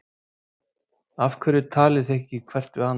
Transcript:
Af hverju talið þið ekki hvert við annað?